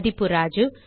மதிப்பு ராஜு